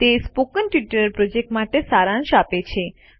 તે spoken tutorial project માટે સારાંશ આપે છે